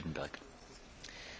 Panie Przewodniczący!